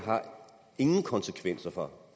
ingen konsekvenser for